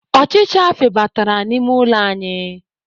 Ọchịcha febatara n'ime ụlọ anyị.